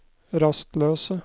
rastløse